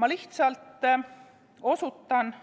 Ma lihtsalt osutan